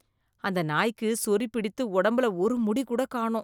அந்த நாய்க்கு சொறி பிடித்து உடம்புல ஒரு முடி கூட காணோம்.